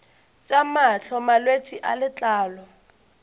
tša mahlo malwetse a letlalo